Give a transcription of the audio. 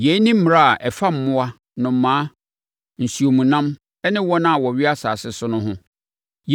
“ ‘Yei ne mmara a ɛfa mmoa, nnomaa, nsuomnam ne wɔn a wɔwea asase so no ho.